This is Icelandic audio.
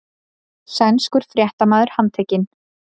Sænskur fréttamaður handtekinn